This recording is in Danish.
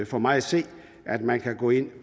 for mig at se at man kan gå ind